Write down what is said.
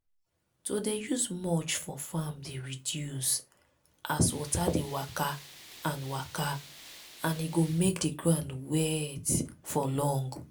to dey use mulch for farm dey reduce as water dey waka and waka and e go make the ground wet for long.